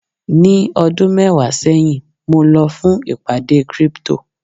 ní ọdún mẹwàá sẹyìn mo lọ fún ìpàdé crypto